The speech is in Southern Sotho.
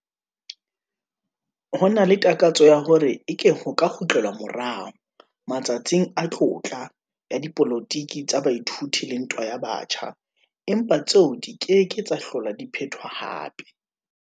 Ho na le takatso ya hore eke ho ka kgutlelwa morao 'matsatsing a tlotla' ya dipolotiki tsa baithuti le ntwa ya batjha, empa tseo di ke ke tsa hlola di phetwa hape.